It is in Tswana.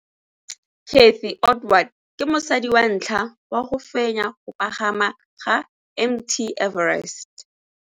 Cathy Odowd ke mosadi wa ntlha wa go fenya go pagama ga Mt Everest.